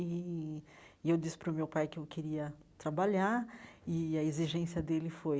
E eu disse para o meu pai que eu queria trabalhar e a exigência dele foi